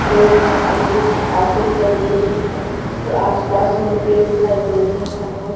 road है और कुछ ऑटो दिखाई दे रहे हैं और आसपास में पेड़ दिखाई दे रहे हैं और--